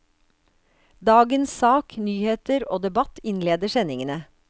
Dagens sak, nyheter og debatt innleder sendingene.